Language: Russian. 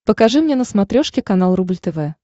покажи мне на смотрешке канал рубль тв